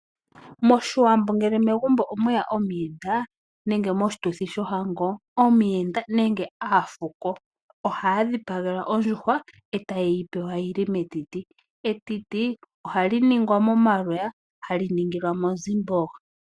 Moshiwambo ngele megumbo omweya omuyenda nenge moshituthi shohango, omuyenda nenge aafuko ohaya dhipagelwa ondjuhwa etaye yi pewa yili metiti. Etiti ohali ningwa momaloya hali ningilwa monzimbogo.